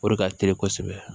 O de ka teli kosɛbɛ